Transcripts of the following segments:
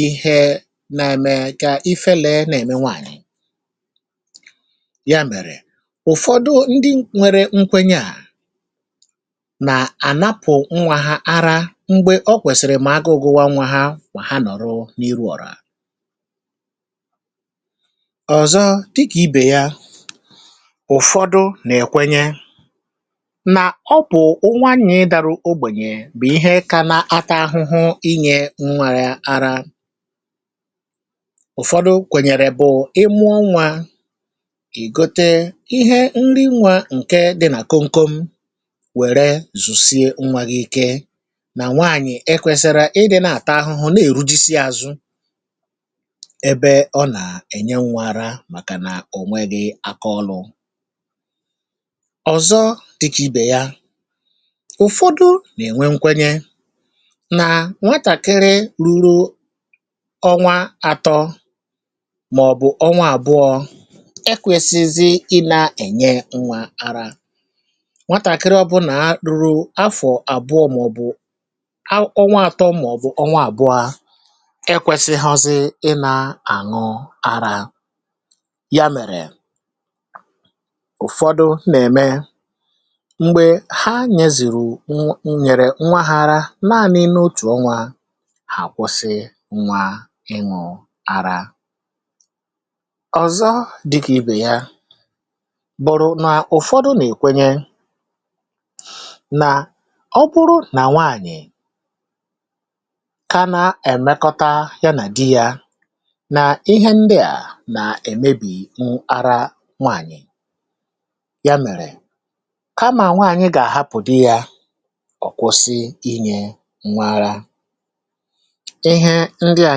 ihe na-eme ke ifere na-eme nwaanyị, ya mere ụfọdụ ndị nwere nkwenye a na anapụ nwa ha ara mgbe okwesiri ma agụụ gụwa nwa ma ha nọrọ n'ihu ọra. Ọzọọ dịka ibe ya, ụfọdụ na ekwenye na ọ bụ nwaanyị dara ogbenye bụ ihe kana ata ahụhụ inye nwa ya ara, ụfọdụ kwenyere bụ ị mụọ nwa ị gote ihe nri nwa nke dịna komkom were zusie nwa gị ike ,na nwaanyị ekwesiro ịdịna ata ahụhụ na ehujisi azụ ebe ọna enye nwa ara makana onweghi akaọrụ. Ọzọ dịka ibe ya, ụfọdụ na enwe nkwenye na nwatakịrị ruru ọnwa atọ maọbu ọnwa abụọ ekwesizighi ịna enye nwa ara, nwatakịrị ọbụla ruru afọ abụọ maọbụ ọnwa atọ maọbu ọnwa abụa ekwesighọzi ịna aṅụ ara, yamere ụfọdụ na eme mgbe ha nye zụrụ nye nwa ha ara naanị n'otu ọnwa ha akwụsị nwa ahụ ịnwụ ara. Ọzọ dịka ibe ya bụrụ na ụfọdụ na ekwenye na ọ bụrụ na nwaanyị kana emekọta yana dị ya na ihe ndịa na emebi ara nwaanyị, ya mere kama nwaanyị ga ahapụ di ya, ọkwụsị inye nwa ara, ihe ndịa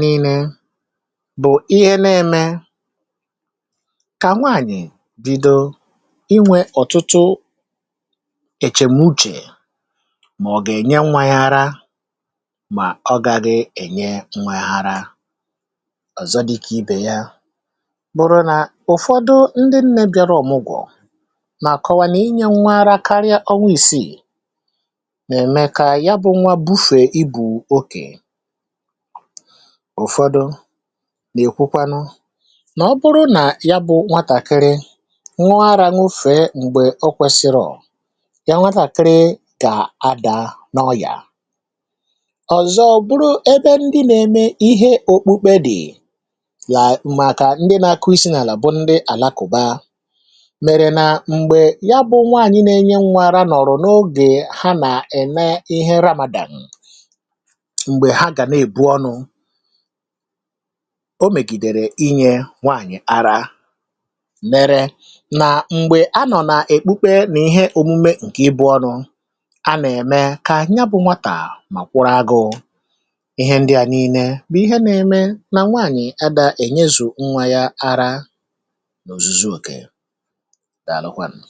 niile bụ ihe na-eme ka nwaanyị bido inwe otutu echemuche ma ọ ga enye nwa ya ara ma ọ gaghị enye nwa ya ara. Ọzọ dịka ibe ya bụrụ ,na ụfọdụ ndị nne bịara ọmụgọ na-akọwa na inye nwa ara karịa ọnwa isii na-eme ka yabụ nwa bufe ibu oke, ụfọdụ na ekwukwanụ na ọ bụrụ na yabụ nwatakịrị ṅụọ ara ṅụfe mgbe okwesirọ, ya nwatakịrị ga-ada na ọyịa. Ọzọ bụrụ ebe ndị na eme ihe okpukpe dị la maka ndị na-akụ isi n'ala bụ ndị alakụba mere na mgbe yabụ nwaanyị na-enye nwa ara nọrọ n'oge ha na-eme ihe Ramadan, mgbe ha gana ebu ọnụ, o megidere inye nwaanyị ara mere na mgbe anọ na okpukpe na omume nke ibu ọnụ ana eme ka yabụ nwata ma kwụrụ agụụ. Ihe ndịa niile bụ ihe na -eme ka nwaanyị ada enyezu nwa ya ara na ozuzo oke. Dalụkwanụ